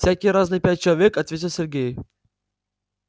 всякие разные пять человек ответил сергей